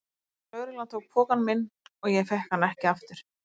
Lögreglan tók pokann minn og ég fékk hann ekki aftur.